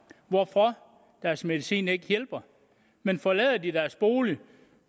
hvorfor deres medicin ikke hjælper men forlader de mennesker deres bolig